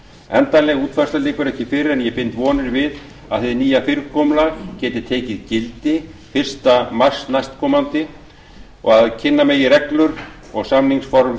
endanleg útfærsla liggur ekki fyrir en ég bind vonir við að hið nýja fyrirkomulag geti tekið gildi fyrsta mars næstkomandi og kynna megi reglur og samningsform